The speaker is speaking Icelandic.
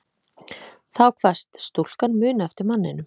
Þá kvaðst stúlkan muna eftir manninum